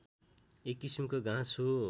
एक किसिमको घाँस हो